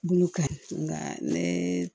Bolo ka nga ne